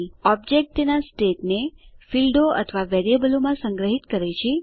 object તેના state ને ફીલ્ડો અથવા વેરીએબલો માં સંગ્રહીત કરે છે